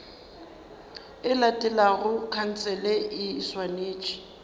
e latelago khansele e swanetše